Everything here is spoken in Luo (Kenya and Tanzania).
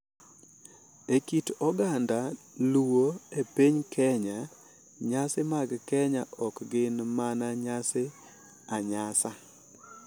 E kit oganda Luo e piny Kenya, nyasi mag keny ok gin mana nyasi a nyasa.